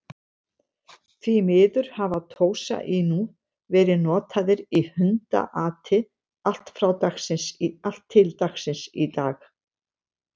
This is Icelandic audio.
Því miður hafa Tosa Inu verið notaðir í hundaati allt til dagsins í dag.